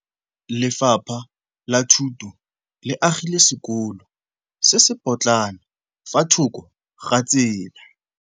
Lefapha la Thuto le agile sekôlô se se pôtlana fa thoko ga tsela.